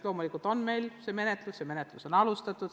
Loomulikult on meil see menetluskord olemas ja menetlusi on ka alustatud.